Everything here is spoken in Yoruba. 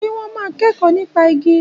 Ṣé wọ́n máa kẹ́kọ̀ọ́ nípa igi?